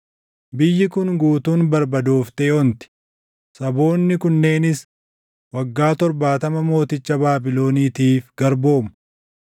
Biyyi kun guutuun barbadooftee onti; saboonni kunneenis waggaa torbaatama mooticha Baabiloniitiif garboomu.